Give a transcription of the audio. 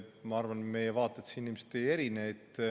Ma arvan, et meie vaated siin ilmselt ei erine.